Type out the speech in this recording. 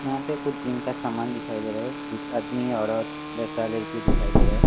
यहां पे कुछ जिम का सामान दिखाई दे रहा है कुछ आदमी औरत लड़का लड़की दिखाई दे रहा है।